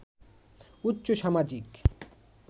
উচ্চ সামাজিক